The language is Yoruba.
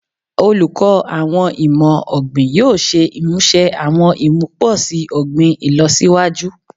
Oluko Awọn Imọ-ogbin yoo ṣe imuse awọn imuposi ogbin ilọsiwaju